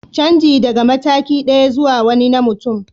Canji daga mataki ɗaya zuwa wani na mutum